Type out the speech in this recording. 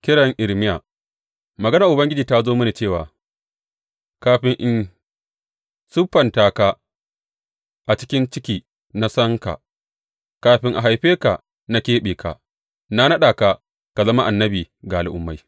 Kiran Irmiya Maganar Ubangiji ta zo mini cewa, Kafin in siffanta ka a cikin ciki na san ka, kafin a haife ka, na keɓe ka; na naɗa ka ka zama annabi ga al’ummai.